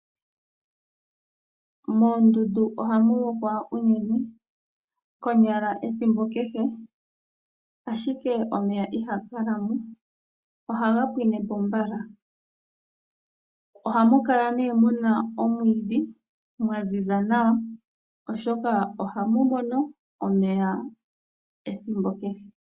Moondundu ohamu lokwa uunene konyala ethimbo kehe, ashike omeya ihaga kala mo. Ohaga pwine po mbala. Ohamu kala mu na omwiidhi Gwa ziza nawa, oshoka ohamu mono omeya ethimbo kehe.